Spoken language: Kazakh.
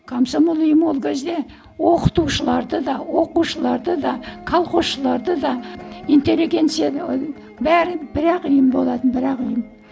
комсомол ұйымы ол кезде оқытушыларды да оқушыларды да колхозшыларды да интелегенцияны бәрі бір ақ ұйым болатын бір ақ ұйым